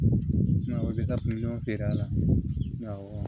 Nka o bɛ ka miliyɔn feere a la awɔ